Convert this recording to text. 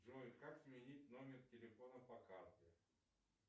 джой как сменить номер телефона по карте